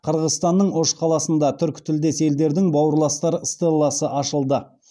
қырғызстанның ош қаласында түркітілдес елдердің бауырластар стелласы ашылды